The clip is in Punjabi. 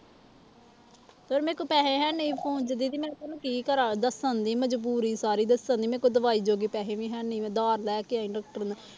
ਫਿਰ ਮੇਰੇ ਕੋਲ ਪੈਸੇ ਹੈਨੀ ਸੀ phone ਚ ਦੀਦੀ ਮੈਂ ਹੁਣ ਕੀ ਕਰਾਂ ਦੱਸਣ ਦੀ ਮਜ਼ਬੂਰੀ ਸਾਰੀ ਦੱਸਣ ਦੀ ਮੇਰੇ ਕੋਲ ਦਵਾਈ ਜੋਗੇ ਪੈਸੇ ਵੀ ਹੈਨੀ ਮੈਂ ਉਧਾਰ ਲੈ ਕੇ ਆਈ doctor ਤੋਂ